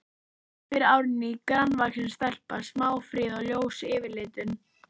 spyr Árný, grannvaxin stelpa, smáfríð og ljós yfirlitum.